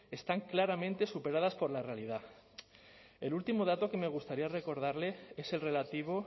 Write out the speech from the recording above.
están claramente superadas por la realidad el último dato que me gustaría recordarle es el relativo